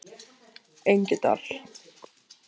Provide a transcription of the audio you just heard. Engidal